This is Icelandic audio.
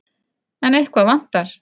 En eitthvað vantar.